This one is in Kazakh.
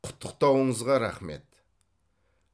құттықтауыңызға рахмет